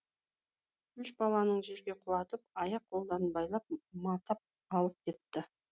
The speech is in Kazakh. үш баланы жерге құлатып аяқ қолдарын байлап матап алып кетті